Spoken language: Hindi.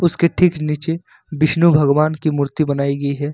इसके ठीक नीचे विष्णु भगवान की मूर्ति बनाई गई है।